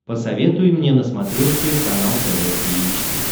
посоветуй мне на смотрешке канал тв три эйч ди